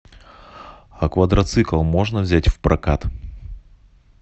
а квадроцикл можно взять в прокат